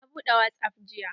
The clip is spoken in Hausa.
Na buɗe wasap jiya.